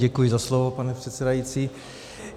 Děkuji za slovo, pane předsedající.